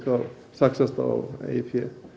þá saxast á eigið fé